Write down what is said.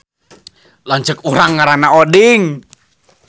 Lanceuk urang ngaranna Oding